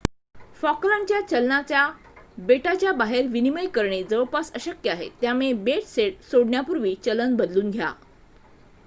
फॉकलँडच्या चलनाचा बेटाच्या बाहेर विनिमय करणे जवळपास अशक्य आहे त्यामुळे बेट सोडण्यापूर्वी चलन बदलून घ्या